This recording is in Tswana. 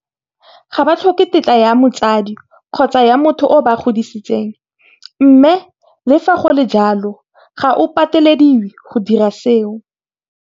Ga ba tlhoke tetla ya motsadi kgotsa ya motho o a ba godisang. Mme le fa go le jalo, ga o patelediwe go dira seo.